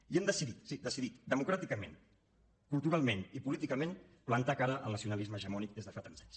i hem decidit sí decidit democràticament culturalment i políticament plantar cara al nacionalisme hegemònic des de fa tants anys